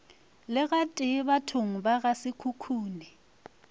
le gatee bathong ba gasekhukhune